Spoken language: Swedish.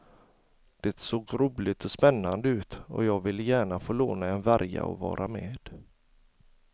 Det såg roligt och spännande ut och jag ville gärna få låna en värja och vara med.